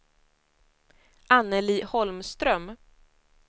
Anneli Holmström